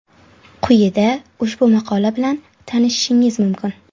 Quyida ushbu maqola bilan tanishishingiz mumkin.